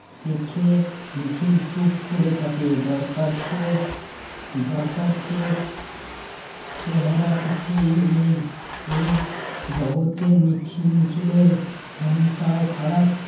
দেখে নিখিল চুপ করে থাকে। দরকার চেয়ে দরকার চেয়ে চেহারা কিছুই নেই এই জগতে নিখিল নিখিলের মনটাও খারাপ